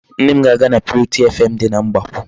Nne m ga-aga na purity FM dị na Mgbakwụ.